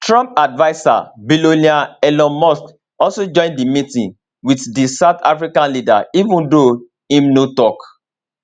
trump adviser billionaire elon musk also join di meeting wit di south african leader even though im no tok